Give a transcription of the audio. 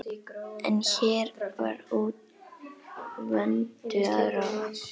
En hér var úr vöndu að ráða.